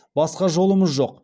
басқа жолымыз жоқ